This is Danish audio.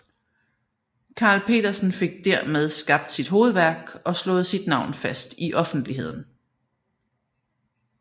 Carl Petersen fik dermed skabt sit hovedværk og slået sit navn fast i offentligheden